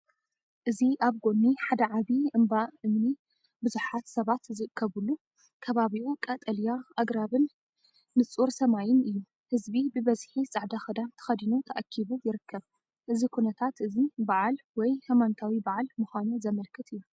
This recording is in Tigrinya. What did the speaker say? እዚ ኣብ ጎኒ ሓደ ዓቢ እምባ እምኒ ብዙሓት ሰባት ዝእከቡሉ፤ ከባቢኡ ቀጠልያ ኣግራብን ንጹር ሰማይን እዩ። ህዝቢ ብብዝሒ ጻዕዳ ክዳን ተኸዲኑ ተኣኪቡ ይርከብ። እዚ ኩነታት እዚ ባህላዊ በዓል ወይ ሃይማኖታዊ በዓል ምዃኑ ዘመልክት እዩ።